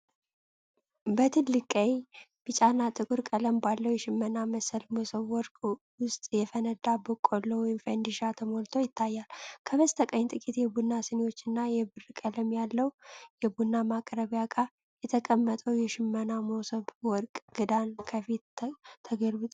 በትልቅ ቀይ፣ ቢጫና ጥቁር ቀለም ባለው የሽመና መሰል መሶበወርቅ ውስጥ የፈነዳ በቆሎ (ፈንዲሻ) ተሞልቶ ይታያል። ከበስተቀኝ ጥቂት የቡና ስኒዎችና የብር ቀለም ያለው የቡና ማቅረቢያ ዕቃ፣ የተቀመጠው የሽመና መሶበዎርቅ ክዳን ከፊት ተገልብጧል።